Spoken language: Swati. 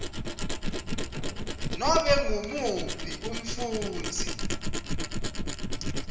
nobe ngumuphi umfundzi